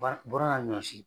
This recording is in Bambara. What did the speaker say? bara bɔrala ɲɔsi.